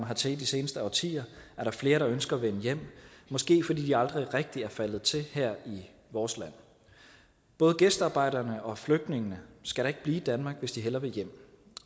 hertil i de seneste årtier er der flere der ønsker at vende hjem måske fordi de aldrig rigtig er faldet til her i vores land både gæstearbejderne og flygtningene skal da ikke blive i danmark hvis de hellere vil hjem